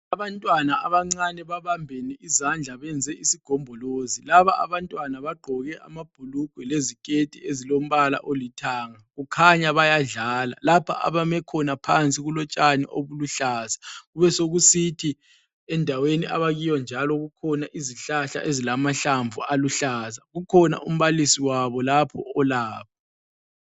Abantwana abancane babambene izandla benze isigombolozi. Laba abantwana bagqoke amabhulugwe leziketi ezolombalala olithanga. Kukhanya bayadlala. Lapha abamikhona phansi kulotshani obuluhlaza. Besekusithi endaweni abakiyo njalo kulezihlahla ezilamahlamvu aluhlaza. Ukhona umbalisi wabo lapho olabo.